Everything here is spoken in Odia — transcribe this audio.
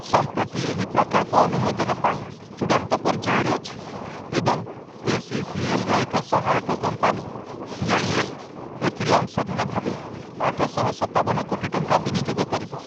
ସମ୍ପ୍ରତି ଏହି ପ୍ରକଳ୍ପ ଅନୁମୋଦନ ପାଇଁ ଚୂଡ଼ାନ୍ତ ପର୍ଯ୍ୟାୟରେ ଅଛି ଏବଂ ଏସ୍ଇସିଏଲ୍‌ର ଏକ ସହାୟକ କମ୍ପାନୀ ସିଆଇଏଲ୍ ଏଥିରେ ଅଂଶଧନ ଭାବେ ଆଠଶହ ସତାବନ କୋଟି ଟଙ୍କା ବିନିଯୋଗ କରିବ ।